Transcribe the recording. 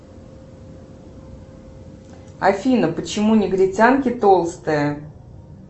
афина почему негритянки толстые